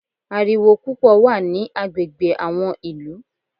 Ariwo púpọ̀ wà ní agbègbè àwọn ìlú.